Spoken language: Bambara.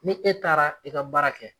Ni e taara i ka baara kɛ